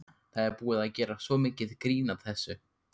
Það er búið að gera svo mikið grín að þessu.